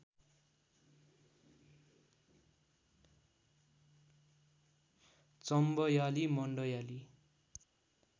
Chambeali Mandyali